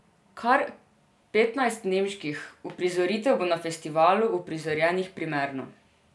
Kar petnajst nemških uprizoritev bo na festivalu uprizorjenih premierno.